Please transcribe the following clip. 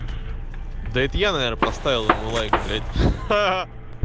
да это я наверное поставил ему лайк блять ха-ха